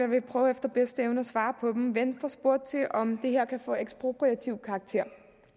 vil prøve efter bedste evne at svare på dem venstre spurgte til om det her kan få ekspropriativ karakter